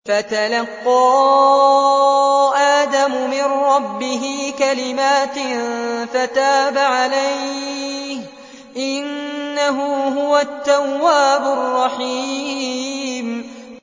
فَتَلَقَّىٰ آدَمُ مِن رَّبِّهِ كَلِمَاتٍ فَتَابَ عَلَيْهِ ۚ إِنَّهُ هُوَ التَّوَّابُ الرَّحِيمُ